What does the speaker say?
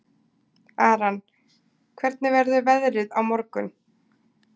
Aran, hvernig verður veðrið á morgun?